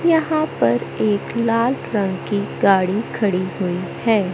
यहां पर एक लाल रंग की गाड़ी खड़ी हुई है।